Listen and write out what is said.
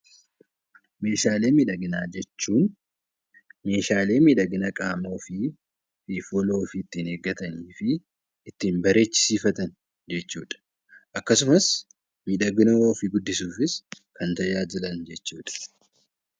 Meeshaalee miidhaginaa jechuun meeshaalee miidhagina qaama ofii yookiin fuula ofii ittiin eeggatanii fi ittiin bareechisiifatan jechuudha. Akkasumas miidhagina ofii guddisuufis kan tajaajilan jechuudha.